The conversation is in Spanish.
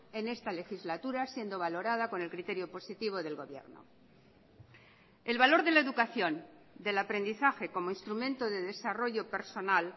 en esta legislatura siendo valorada con el criterio positivo del gobierno el valor de la educación del aprendizaje como instrumento de desarrollo personal